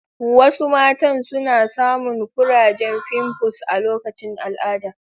Wasu matan suna samun kurajen fimfus a lokacin al'ada